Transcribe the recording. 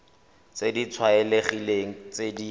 tse di tlwaelegileng tse di